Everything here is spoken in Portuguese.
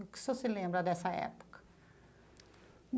O que o senhor se lembra dessa época?